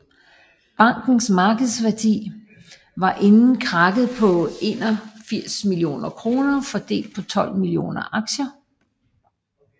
Bankens markedsværdi var inden krakket på 81 millioner kroner fordelt på 12 millioner aktier